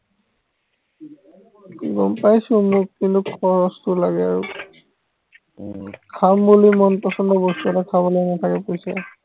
গম পাইছো মোক কিন্তু খৰছটো লাগে আৰু উম খাম বুলি মন পছন্দৰ বস্তু এটা খাবলে নাথাকে পইচা